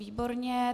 Výborně.